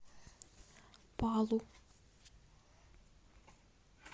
палу